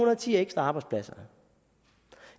og ti ekstra arbejdspladser